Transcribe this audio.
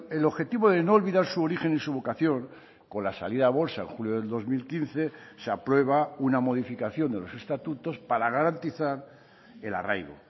el objetivo de no olvidar su origen y su vocación con la salida a bolsa en julio del dos mil quince se aprueba una modificación de los estatutos para garantizar el arraigo